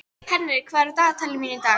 Henrik, hvað er í dagatalinu mínu í dag?